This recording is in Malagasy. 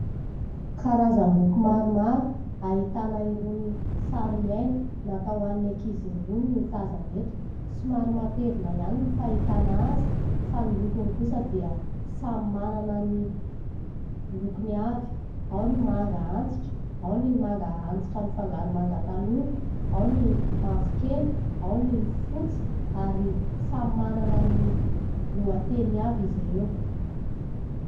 Karazam-boky maromaro ahitana irony sary miaina natao any ankizy irony no tazana eto. Somary matevina ihany ny fahitana azy fa ny lokony kosa dia samy manana ny lokony avy : ao ny manga antitra, ao ny manga antitra mifangaro manga tanora, ao ny mavokely, ao ny fotsy, ary samy manana ny lohateny avy izy ireo.